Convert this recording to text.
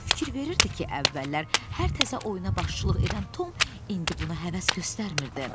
O fikir verirdi ki, əvvəllər hər təzə oyuna başçılıq edən Tom indi buna həvəs göstərmirdi.